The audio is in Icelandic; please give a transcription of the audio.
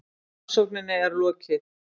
Rannsókninni er lokið!